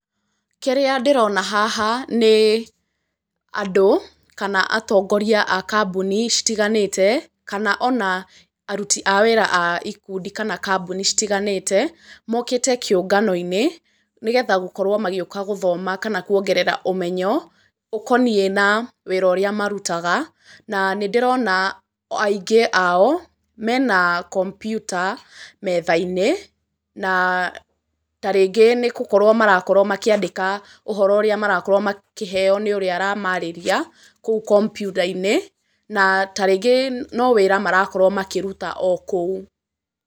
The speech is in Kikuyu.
Kĩrĩa ndĩrona haha, nĩ andũ kana atongoria a kambuni citiganĩte ,kana ona aruti a wĩra a ikundi kana a kambuni citiganĩte, mokĩte kĩũngano-inĩ nĩgetha gũkorwo magĩũka gũthoma kana kuongerera ũmenyo ũkoniĩ na wĩra ũrĩa marutaga, na nĩ ndĩrona aingĩ ao mena kompyuta metha-inĩ, na ta rĩngĩ nĩ gũkorwo marakorwo makĩandĩka ũhoro ũrĩa marakorwo makĩheo nĩ ũrĩa aramarĩria, kũu kompyuta-inĩ, na tarĩngĩ no wĩra marakorwo makĩruta o kũu.